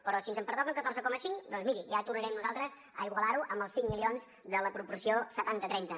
però si ens en pertoquen catorze coma cinc doncs miri ja tornarem nosaltres a igualar ho amb els cinc milions de la proporció setanta trenta